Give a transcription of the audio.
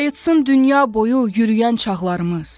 Qayıtsın dünya boyu yürüyən çağlarımız.